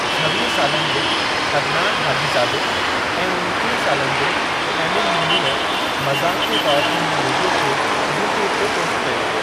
छवीह सालनि जे अदनान हाजीज़ादे ऐं उणटीह सालनि जे एमिन मिल्लीअ मज़ाक़ जे तौर ते हिन वीडियो खे यूट्यूब ते पोस्ट कयो।